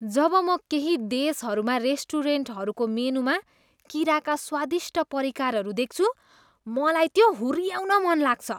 जब म केही देशहरूमा रेस्टुरेन्टहरूको मेनुमा किराका स्वादिष्ट परिकारहरू देख्छु, मलाई त्यो हुऱ्याउन मन लाग्छ।